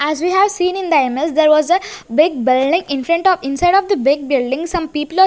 As we have seen in the image there was a big building in front of inside of the big building some --